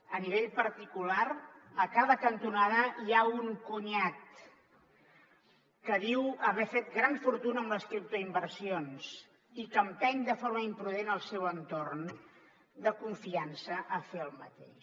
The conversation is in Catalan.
a nivell particular a cada cantonada hi ha un cunyat que diu haver fet gran fortuna amb les criptoinversions i que empeny de forma imprudent el seu entorn de confiança a fer el mateix